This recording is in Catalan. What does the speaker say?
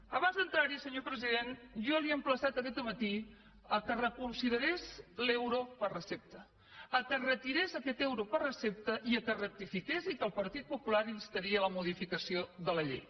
abans d’entrar hi senyor president jo l’he emplaçat aquest matí que reconsiderés l’euro per recepta que retirés aquest euro per recepta i que rectifiqués i que el partit popular instaria a la modificació de la llei